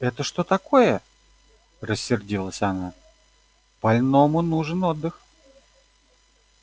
это что такое рассердилась она больному нужен отдых